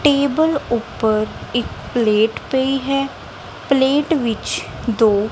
table ਉੱਪਰ ਇੱਕ plate ਪਈ ਹੈ ਪਲੇਟ ਵਿੱਚ ਦੋ--